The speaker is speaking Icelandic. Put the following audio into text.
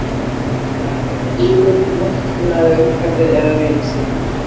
Getur maður verið góður við náttúruna eða umhverfið eða vini sína?